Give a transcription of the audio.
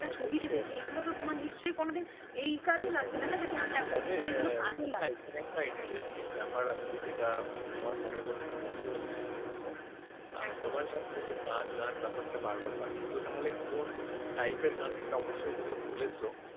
গান গান ব্যাপারটা বারবার পাচ্ছি তো তাহলে কোন type র গান সেটা তুমি অবশ্যই বলেছ